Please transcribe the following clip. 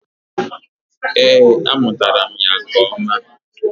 Ee, amụtara m ya nke ọma.